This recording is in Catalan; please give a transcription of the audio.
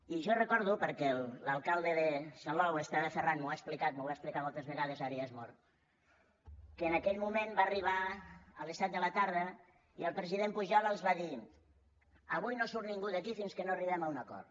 i jo recordo perquè l’alcalde de salou esteve ferran m’ho ha explicat m’ho va explicar moltes vegades ara ja és mort que en aquell moment va arribar a les set de la tarda i el president pujol els va dir avui no surt ningú d’aquí fins que no arribem a un acord